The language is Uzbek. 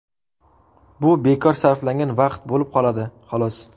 Bu bekor sarflangan vaqt bo‘lib qoladi, xolos.